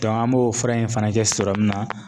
an b'o fura in fana kɛ serɔmu na